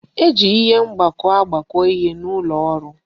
E ji ihe mgbakọ agbakọ ihe n'ụlọ ọrụ